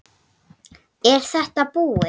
Er þetta bara búið?